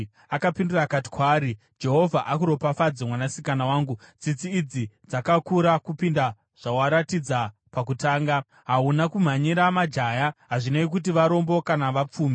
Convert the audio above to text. Akapindura akati kwaari, “Jehovha akuropafadze, mwanasikana wangu. Tsitsi idzi dzakakura kupinda zvawakaratidza pakutanga. Hauna kumhanyira majaya, hazvinei kuti varombo kana vapfumi.